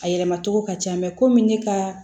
A yɛlɛmacogo ka ca komi ne ka